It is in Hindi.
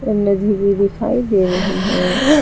नदी भी दिखाई दे रही है।